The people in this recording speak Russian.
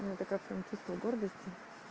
нет это как чувство гордости